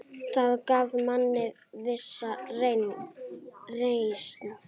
Það gaf manni vissa reisn.